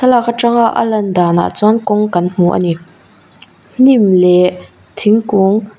thlalak atanga a lan dan ah chuan kawng kan hmu ani hnim leh thingkung--